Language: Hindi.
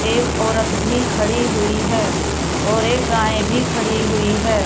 एक औरत भी खड़ी हुई है और एक गाय भी खड़ी हुई है।